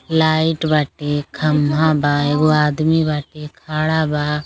Light बाटे खम्भा बा एक गो आदमी बाटे खड़ा बा।